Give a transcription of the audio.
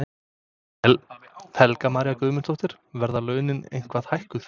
Helga María Guðmundsdóttir: Verða launin eitthvað hækkuð?